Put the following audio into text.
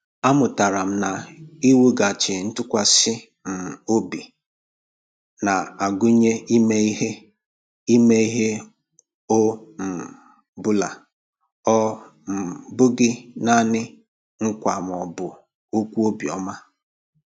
Amụtara m na iwughachi ntụkwasị um obi na-agụnye ime ihe ime ihe ọ um bụla, ọ um bụghị nanị nkwa ma ọ bụ okwu obiọma.